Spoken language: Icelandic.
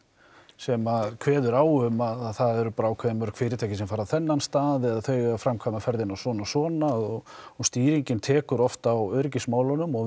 sem kveður á um að það eru bara ákveðið mörg fyrirtæki sem fá bara þennan stað eða þau eiga að framkvæma ferðina svona svona og og stýringin tekur oft á öryggismálunum og